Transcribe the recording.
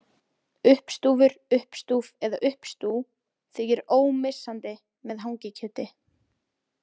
Uppstúfur, uppstúf eða uppstú þykir ómissandi með hangikjöti.